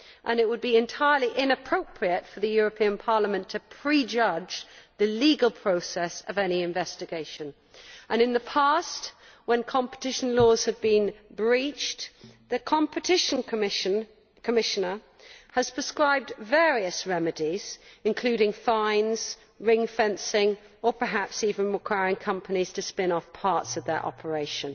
It would be entirely inappropriate for the European Parliament to prejudge the legal process of any investigation. In the past, when competition laws had been breached, the Competition Commissioner has prescribed various remedies, including fines, ring fencing or perhaps even requiring companies to spin off parts of their operation.